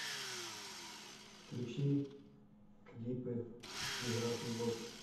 включи клипы биг рашн босс